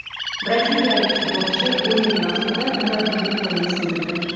Braziliyalik futbolchi o‘yin vaqtida murabbiyning qo‘lini sindirdi.